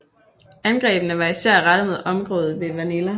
Angrebene var især rettet mod området ved Manila